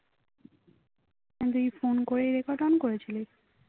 তুই phone করে record on করেছিলি